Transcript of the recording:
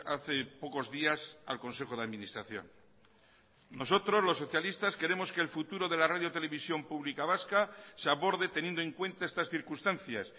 hace pocos días al consejo de administración nosotros los socialistas queremos que el futuro de la radio televisión pública vasca se aborde teniendo en cuenta estas circunstancias